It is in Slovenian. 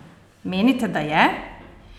Menite, da je?